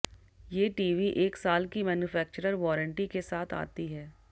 ये टीवी एक साल की मैनुफेक्चरर वारंटी के साथ आती है